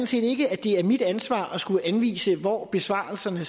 set ikke at det er mit ansvar at skulle anvise hvor besparelserne